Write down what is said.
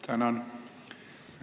Tänan!